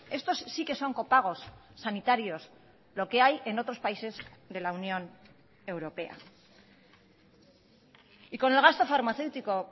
estos sí que son copagos sanitarios lo que hay en otros países de la unión europea y con el gasto farmaceútico